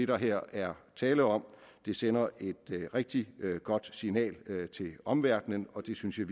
der her er tale om det sender et rigtig godt signal til omverdenen og det synes jeg